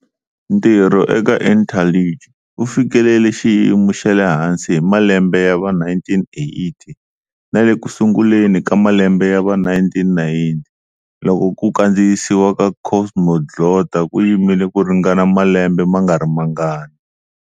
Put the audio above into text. Ntirho eka Interlingue wu fikelele xiyimo xa le hansi hi malembe ya va 1980 na le ku sunguleni ka malembe ya va 1990, loko ku kandziyisiwa ka Cosmoglotta ku yimile ku ringana malembe ma nga ri mangani.